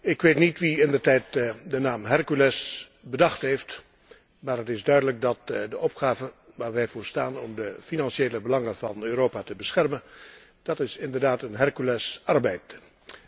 Ik weet niet wie indertijd de naam Hercules bedacht heeft, maar het is duidelijk dat de opgave waar wij voor staan om de financiële belangen van Europa te beschermen, inderdaad een 'herculesarbeid' is.